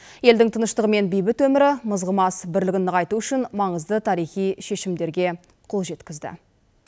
елдің тыныштығы мен бейбіт өмірі мызғымас бірлігін нығайту үшін маңызды тарихи шешімдерге қол жеткізді